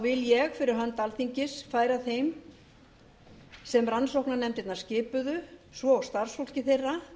vil ég fyrir hönd alþingis færa þeim sem rannsóknarnefndirnar skipuðu svo og starfsfólki þeirra